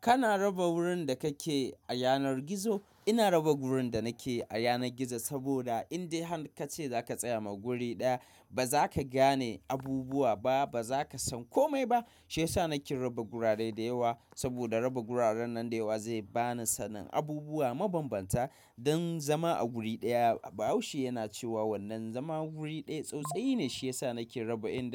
Kana raba wurin da kake a yanar gizo? Ina raba gurin da nake a yanar gizo saboda in dai ka ce za ka tsaya ma wuri ɗaya, ba za ka gane abubuwa ba, ba za ka san kome ba. Shi ya sa nake raba gurare da yawa saboda raba gurare nan da yawa zai ba ni sanin abubuwa mabanbanta don zama a wuri ɗaya. Bahaushe yana cewa wannan "zama wuri ɗaya, tsautsayi" ne. Shi ya sa nake raba inda.